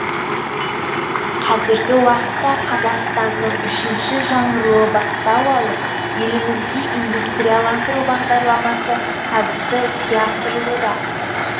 қазіргі уақытта қазақстанның үшінші жаңғыруы бастау алып елімізде индустрияландыру бағдарламасы табысты іске асырылуда